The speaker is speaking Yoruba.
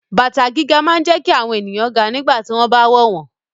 High heels make people taller when they wear them